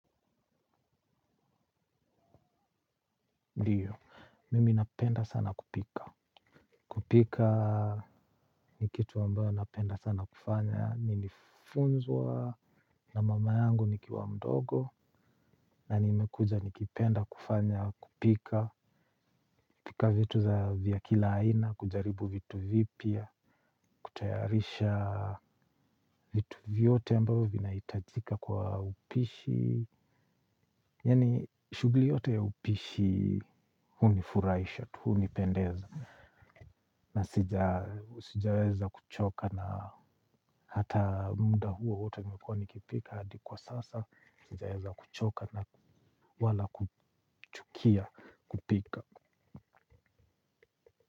Ndiyo, mimi napenda sana kupika. Kupika ni kitu ambayo napenda sana kufanya. Nilifunzwa na mama yangu nikiwa mdogo. Na nimekuja kukipenda kufanya kupika. Kupika vitu za vya kila aina kujaribu vitu vipya. Kutayarisha vitu vyote ambavyo vinahitajika kwa upishi. Yani shughuli yote ya upishi huni furahisha tu hunipendeza. Na sijaweza kuchoka na hata muda huo wote nimekuwa nikipika hadi kwa sasa sijaweza kuchoka na wala kuchukia kupika.